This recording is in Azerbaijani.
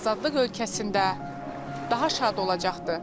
Azadlıq ölkəsində daha şad olacaqdır.